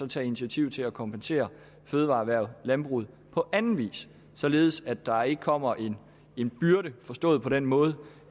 tage initiativ til at kompensere fødevareerhvervet landbruget på anden vis således at der ikke kommer en byrde forstået på den måde